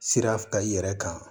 Sira ka i yɛrɛ kan